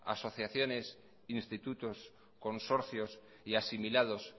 asociaciones institutos consorcios y asimilados